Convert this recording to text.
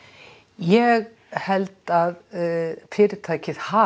ég held að fyrirtækið hafi